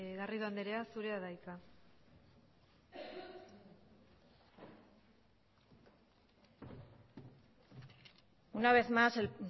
garrido andrea zurea da hitza una vez más el